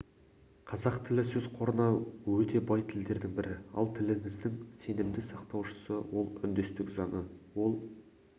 қазақ тілі сөз қорына өте бай тілдердің бірі ал тіліміздің сенімді сақтаушысы ол үндестік заңы ол